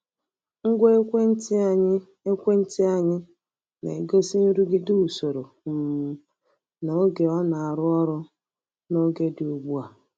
Ngwa ekwentị anyị ekwentị anyị na-egosi nrụgide usoro um na oge ọ na-arụ ọrụ n’oge dị ugbu a.